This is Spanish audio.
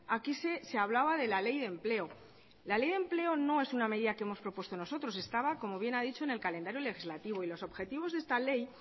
aquí se hablaba de la ley de empleo la ley de empleo no es una medida que hemos propuestos nosotros estaba como bien ha dicho en el calendario legislativo y